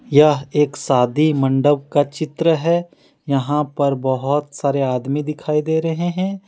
यह एक शादी मंडप का चित्र है यहां पर बहोत सारे आदमी दिखाई दे रहे हैं।